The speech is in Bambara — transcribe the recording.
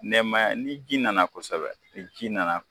Nɛmaya ni ji nana kosɛbɛ ji nana